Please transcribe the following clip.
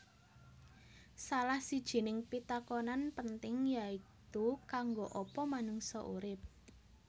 Salah sijining pitakonan penting yaitu kanggo apa manungsa urip